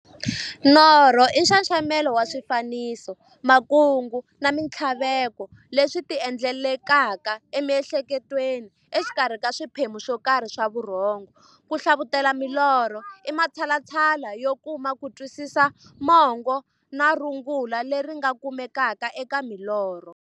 Norho i nxaxamelo wa swifaniso, makungu na minthlaveko leswi ti endlekelaka emihleketweni exikarhi ka swiphemu swokarhi swa vurhongo. Ku hlavutela milorho i matshalatshala yo kuma kutwisisa mungo na rungula leri nga kumekaka eka milorho.